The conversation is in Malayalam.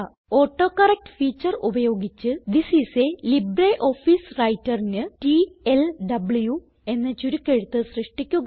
ഓട്ടോകറക്ട് ഫീച്ചർ ഉപയോഗിച്ച് തിസ് ഐഎസ് ലിബ്രിയോഫീസ് Writerന് ടിഎൽഡബ്ലു എന്ന ചുരുക്കെഴുത്ത് സൃഷ്ടിക്കുക